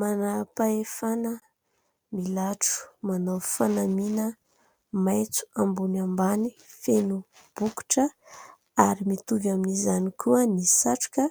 Manam-pahefana milatro, manao fanamiana maitso ambony ambany feno bokotra ary mitovy amin'izany koa ny satroka.